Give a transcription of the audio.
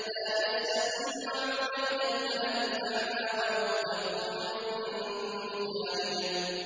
لَّا يَسَّمَّعُونَ إِلَى الْمَلَإِ الْأَعْلَىٰ وَيُقْذَفُونَ مِن كُلِّ جَانِبٍ